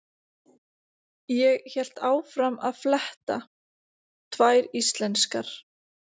Ég hélt áfram að fletta: Tvær íslenskar.